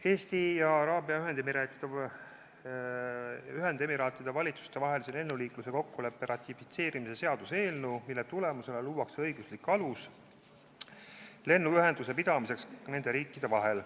Eesti ja Araabia Ühendemiraatide valitsuse vahelise lennuliikluse kokkuleppe ratifitseerimise seaduse tulemusena luuakse õiguslik alus lennuühenduse pidamiseks nende riikide vahel.